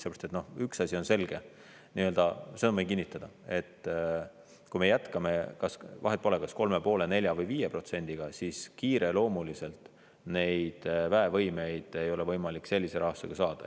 Sellepärast, et üks asi on selge, seda ma võin kinnitada, et kui me jätkame, vahet pole, kas 3,5%, 4% või 5%-ga, siis kiireloomuliselt neid väevõimeid ei ole võimalik sellise rahastusega saada.